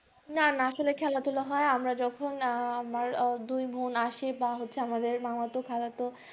না না আসলে খেলা ধুলা হয়ে আমরা যখন আহ আমার দুই বোন আসে বা হচ্ছে আমাদের মামাতো খালাতো